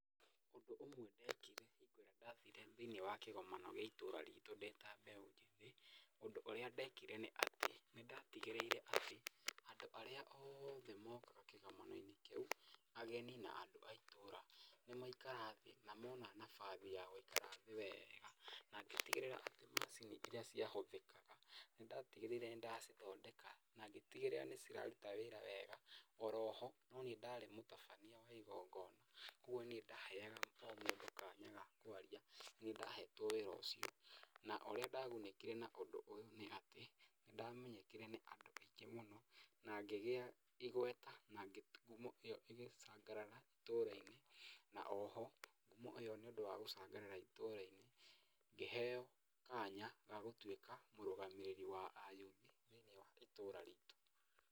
Ũndũ ũmwe ndekire hingo ĩrĩa ndathire thĩiniĩ wa kĩgomano gĩa itũra ritũ ndĩ ta mbeũ njĩthĩ. Ũndũ ũrĩa ndekire nĩ atĩ, nĩndatigĩrĩire atĩ andũ arĩa othe mokaga kĩgomano-inĩ kĩu ageni na andũ a itũra nĩ maikara thĩ na mona nabathi ya gũikara thĩ wega na ngĩtigĩrĩra atĩ macini iria ciahũthĩkaga nĩndatigĩrĩire nĩ ndacithondeka na ngĩtigĩrĩra nĩ ciraruta wĩra wega. Oroho nĩ niĩ ndarĩ mũtabania wa igongona, kuũguo nĩ niĩ ndahega o mũndũ kanya ga kwaria, nĩ niĩ ndahetwo wĩra ũcio. Na ũrĩa ndagunĩkire na ũndũ ũyũ nĩ atĩ nĩ ndamenyekire nĩ andũ aingĩ mũno na ngĩgĩa igweta, na ngumo ĩyo ĩgĩcangarara itũra-inĩ, na oho ũyũ nĩ ũndũ wa gũcangarara itũra-inĩ ngĩheo kanya ga gũtuĩka mũrũgamĩrĩri wa ayuthi thĩiniĩ wa itura ritũ.